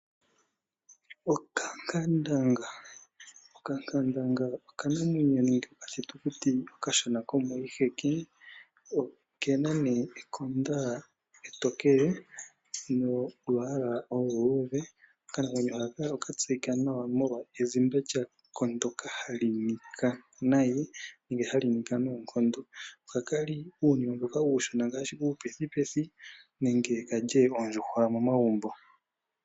Okankandanga, okankandanga oka namwenyo nenge oka thitukuti okashona komoshiheke. Okena nee ekonda etokele nolwaala oluluudhe. Okanamwenyo haka oka tseyika nawa molwa ezimba lyako lyoka hali nika nayi ano hayi nika noonkondo, ohaka kali iinima mboka uushona ngaashi uupethipethi nenge kalye oondjuhwa momagumbo.